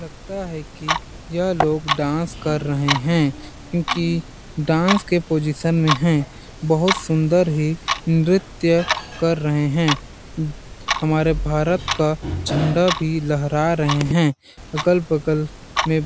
लगता है कि यह लोग डांस कर रहे है क्योंकि डांस के पोजीशन में है बहुत सुंदर ही नृत्य कर रहे है हमारे भारत का झण्डा भी लहरा रहे है अगल-बगल में--